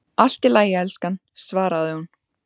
Allt í lagi, elskan, svaraði hún.